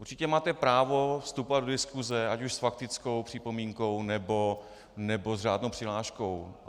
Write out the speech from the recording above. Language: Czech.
Určitě máte právo vstupovat do diskuse ať už s faktickou připomínkou, nebo s řádnou přihláškou.